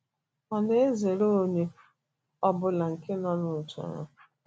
Ọ na - ezere onye ọ bụla nke so n’otu ahụ.